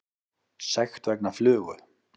Sekt vegna flugu